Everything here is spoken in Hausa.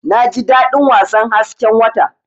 Naji dadin wasan hasken wata.